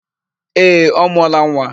Ee, ọ mụọla nwa.